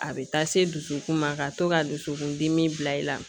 A bɛ taa se dusukun ma ka to ka dusukundimi bila i la